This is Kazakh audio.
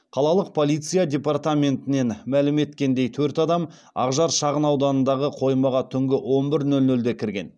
қалалық полиция департаментінен мәлім еткендей төрт адам ақжар шағынауданындағы қоймаға түнгі он бір нөл нөлде кірген